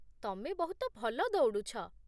ତମେ ବହୁତ ଭଲ ଦୌଡ଼ୁଛ ।